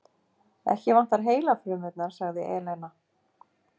Ekki vantar heilafrumurnar, sagði Elena.